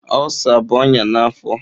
Ulsa bụ ọnya na afọ.